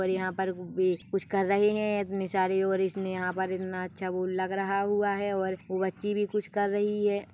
-- और यहाँ पर कुछ कर रहे है इतनी सारी और इसने यंहा पर इनना अच्छा वो लग रहा हुआ है और वो बच्ची भी कुछ कर रही है।